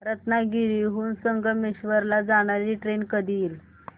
रत्नागिरी हून संगमेश्वर ला जाणारी ट्रेन कधी येईल